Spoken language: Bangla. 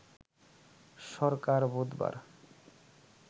সরকার বুধবার